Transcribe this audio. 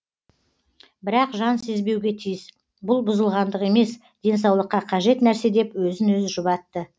бірақ жан сезбеуге тиіс бүл бұзылғандық емес денсаулыққа қажет нәрсе деп өзін өзі жұбатты